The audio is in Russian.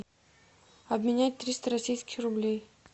обменять триста российских рублей